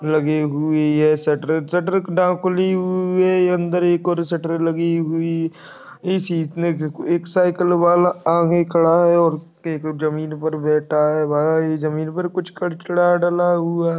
लगी हुई है शटर शटर का डा खुली यु ये अंदर एक और शटर लगी हुई इस छीत ने के एक साइकिल वाला आगे खड़ा है और एक जमीन पर बैठा है वह इस जमीन पर कुछ करचड़ा डला हुआ --